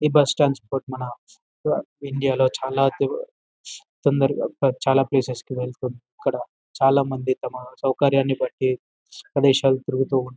ఈ బస్టాండ్స్ మన ఇండియా లో చాలా తో తొందరగా ప చాలా ప్లేసెస్ కి ఇక్కడ చాలా మంది తమ సౌకర్యాన్ని బట్టి ప్రదేశాలు తిరుగుతూ ఉ--